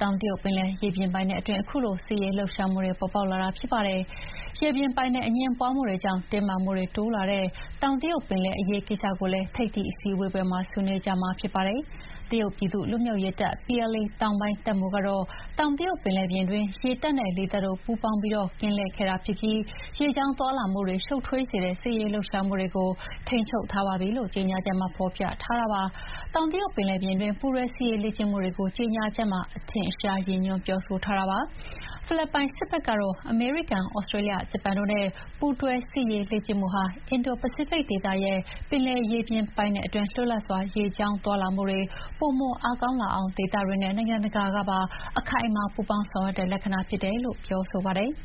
တောင်တရုတ်ပင်လယ်ရေပြင်အတွင်း ခုလို စစ်ရေးလှုပ်ရှားမှုတွေ ပေါ်ပေါက်လာတာဖြစ်ပါတယ်။ ရေပြင်ပိုင်နက် အငြင်းပွါးမှုတွေကြောင့် တင်းမာမှုတွေတိုးလာတဲ့ တောင်တရုတ်ပင်လယ် အရေးကိစ္စကိုလည်း ထိပ်သီးအစည်းအဝေးပွဲမှာ ဆွေးနွေးကြမှာဖြစ်ပါတယ်။ တရုတ်ပြည်သူ့လွတ်မြောက်ရေးတပ် PLA တောင်ပိုင်းတပ်မှုးကတော့ တောင်တရုတ်ပင်လယ်ပြင်တွင်း ရေတပ်နဲ့ လေတပ်တို့ ပူးပေါင်းပြီး ကင်းလှည့်ခဲ့တာဖြစ်ပြီး ရေကြောင်းသွားလာမှုတွေ ရှုပ်ထွေးစေတဲ့ စစ်ရေးလှုပ်ရှားမှုတွေကို ထိန်းချုပ်ထားပါပြီလို့ ကြေညာချက်မှာ ဖော်ပြပါတယ်။ တောင်တရုတ်ပင်လယ်ပြင်တွင်း ပူးတွဲ စစ်ရေးလေ့ကျင့်မှုတွေကို ကြေညာချက်မှာ အထင်အရှားရည်ညွှန်းပြောဆိုထားတာပါ။ ဖိလစ်ပိုင်စစ်ဖက်ကတော့ အမေရိကန်၊ သြစတြေးလျ၊ ဂျပန်တို့နဲ့ ပူးတွဲစစ်ရေးလေ့ကျင့်မှုဟာ အင်ဒို-ပစိဖိတ်ဒေသရဲ့ ပင်လယ်ရေပိုင်နက်အတွင်း လွတ်လပ်စွာ ရေကြောင်းသွားလာမှုတွေ ပိုမိုအားကောင်းလာအောင် ဒေသတွင်းနဲ့ နိုင်ငံတကာကပါ အခိုင်အမာပူးပေါင်းဆောင်ရွက်တဲ့ လက္ခဏာဖြစ်တယ်လို့ ပြောဆိုပါတယ်။